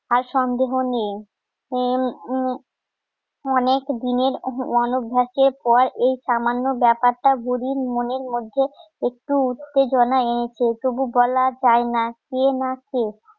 এর সন্দেহ নেই অনেক দিনের অনভ্যাসের পর এই সামান্য ব্যাপারটা বুরির মনের মধ্যে একটু উত্তেজনা এনেছে তবু বলা যায় না কে না কে